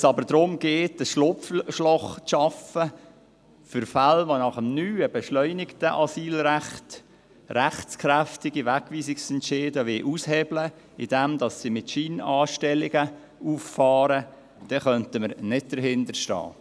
Wenn es aber darum geht, ein Schlupfloch zu schaffen für Fälle, die nach dem neuen beschleunigten Asylrecht rechtskräftige Wegweisungsentscheide aushebeln wollen, indem sie mit Scheinanstellungen auffahren, dann könnten wir nicht dahinterstehen.